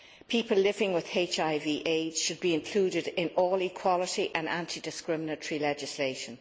People living with HIV AIDS should be included in all equality and anti discriminatory legislation.